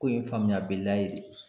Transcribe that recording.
Ko in ye faamuya bɛlliya de ye.